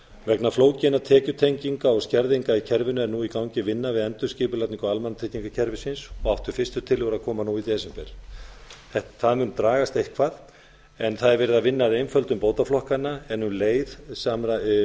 vegna flókinna tekjutenginga og skerðinga í kerfinu er nú í gangi vinna við endurskipulagningu almannatryggingakerfisins og áttu fyrstu tillögur að koma nú í desember það mun dragast eitthvað en verið er að vinna að einföldun bótaflokkanna en um leið eru